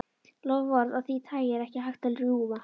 Loforð af því tagi er ekki hægt að rjúfa.